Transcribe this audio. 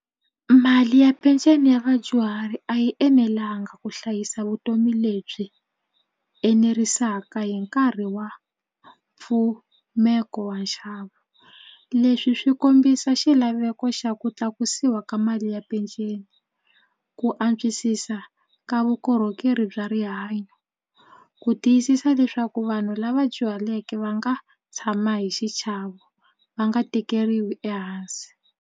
Mali ya peceni ya vadyuhari a yi enelanga ku hlayisa vutomi lebyi enerisaka hi nkarhi wa mpfumeko wa nxavo leswi swi kombisa xilaveko xa ku tlakusiwa ka mali ya peceni ku antswisisa ka vukorhokeri bya rihanyo ku tiyisisa leswaku vanhu lava dyuhaleke va nga tshama hi xichavo va nga tekeriwi ehansi.